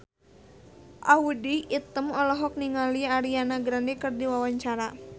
Audy Item olohok ningali Ariana Grande keur diwawancara